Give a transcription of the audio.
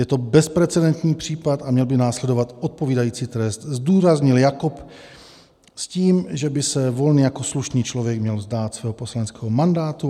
Je to bezprecedentní případ a měl by následovat odpovídající trest, zdůraznil Jakob s tím, že by se Volný jako slušný člověk měl vzdát svého poslaneckého mandátu.